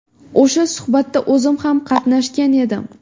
O‘sha suhbatda o‘zim ham qatnashgan edim.